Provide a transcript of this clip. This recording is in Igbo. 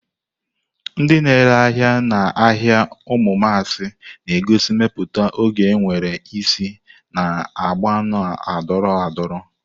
Ndị na-ere ahịa n'ahịa umumasi na-egosi mmepụta oge nwere isi na agba na-adọrọ adọrọ.